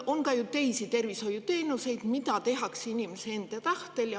On ju ka teisi tervishoiuteenuseid, mida tehakse inimese enda soovil.